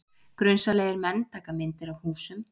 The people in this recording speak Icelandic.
Grunsamlegir menn taka myndir af húsum